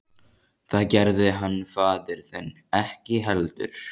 Það gerði hann faðir þinn ekki heldur.